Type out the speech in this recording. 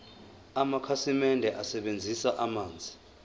amakhasimende asebenzisa amanzi